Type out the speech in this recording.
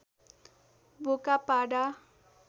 बोका पाडा